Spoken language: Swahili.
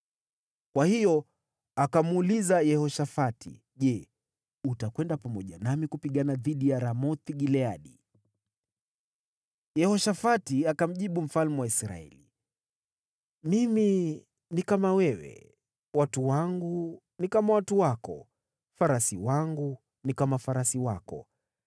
Kwa hiyo akamuuliza Yehoshafati, “Je, utakwenda pamoja nami kupigana dhidi ya Ramoth-Gileadi?” Yehoshafati akamjibu mfalme wa Israeli, “Mimi ni kama wewe, watu wangu ni kama watu wako, farasi wangu ni kama farasi wako.”